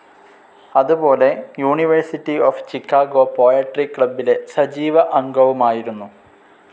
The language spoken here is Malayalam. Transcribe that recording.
അതുപോലെ യൂണിവേഴ്സിറ്റി ഓഫ്‌ ചിക്കാഗോ പോയട്രി ക്ലബ്ബിലെ സജീവ അംഗവുമായിരുന്നു.